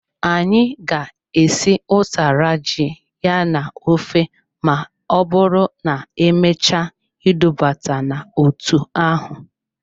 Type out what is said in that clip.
Anyị ga-esi utara ji ya na-ofe ma ọbụrụ na-emechaa idubata n'otu ahụ.